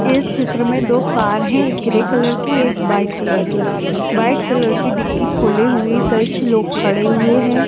एक चित्र में दो कार है एक ग्रे कलर की एक व्हाइट कलर की व्हाइट कलर की डिग्गी खोले हुए कुछ लोग खड़े हुए हैं।